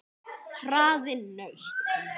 Hraðinn nautn.